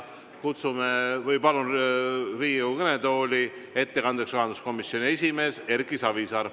Palun Riigikogu kõnetooli ettekandjaks rahanduskomisjoni esimehe Erki Savisaare.